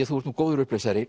þú ert nú góður